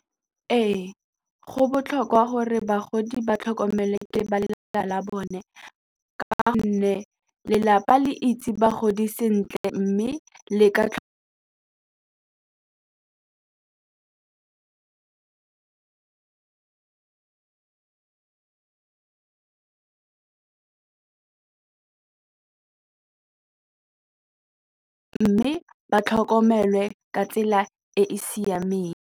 Ee go botlhokwa gore bagodi ba tlhokomele ke ba lelapa la bone ka gonne lelapa le itse bagodi sentle mme le ka mme ba tlhokomelwe ka tsela e e siameng.